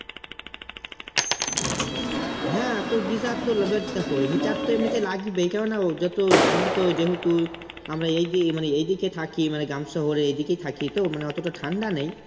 হ্যাঁ তো Geyser তো এবার দেখো heater তো এমনিতে লাগবেই কেননা যতই আমরা তো যেহেতু আমরা এই যে মানে এদিকে থাকি মানে গ্রাম শহরে এদিকে থাকি তো মানে অতটা ঠান্ডা নেই